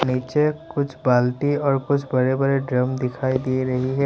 नीचे कुछ बाल्टी और कुछ बड़े बड़े ड्रम दिखाई दे रही है।